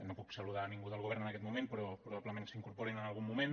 no puc saludar ningú del govern en aquest moment però probablement s’incorporaran en algun moment